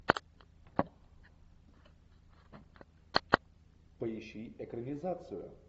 поищи экранизацию